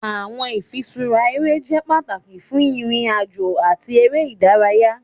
Awọn ifiṣura ere jẹ pataki fun irin-ajo ati ere idaraya.